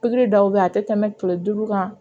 Pikiri dɔw bɛ yen a tɛ tɛmɛ kile duuru kan